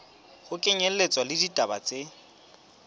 ho kenyelletswa le ditaba tse